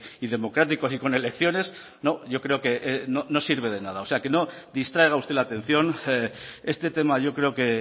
y democráticos y con elecciones yo creo que no sirve de nada o sea que no distraiga usted la atención este tema yo creo que